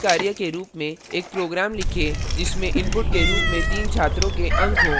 एक नियतकार्य के रूप में एक प्रोग्राम लिखें जिसमें इनपुट के रूप में तीन छात्रों के अंक हों